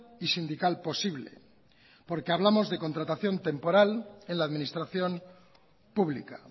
y sindical posible porque hablamos de contratación temporal en la administración pública